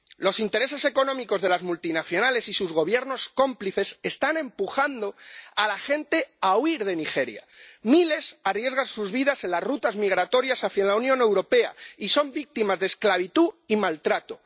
Los intereses económicos de las multinacionales y sus Gobiernos cómplices están empujando a la gente a huir de Nigeria. Miles arriesgan sus vidas en las rutas migratorias hacia la Unión Europea y son víctimas de esclavitud y maltrato.